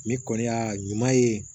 Ne kɔni y'a ɲuman ye